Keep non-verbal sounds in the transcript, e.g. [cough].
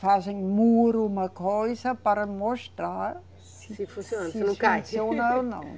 Fazem muro, uma coisa, para mostrar se. Se funciona, se não cai. [laughs] Se funciona ou não.